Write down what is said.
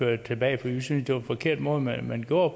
det tilbage for vi synes det var en forkert måde man man gjorde